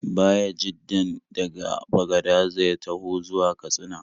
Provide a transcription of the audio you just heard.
Bayajiddan daga Bagadaza ya taho zuwa Katsina.